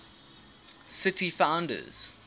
city founders